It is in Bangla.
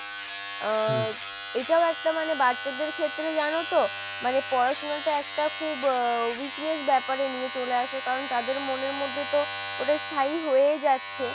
আহ এটাও একটা মানে বাচ্চাদের ক্ষেত্রে জানো তো মানে পড়াশুনোটা একটা খুব weakness ব্যাপারে নিয়ে চলে আসে কারণ তাদের মনের মধ্যে তো ওটা স্থায়ী হয়েই যাচ্ছে,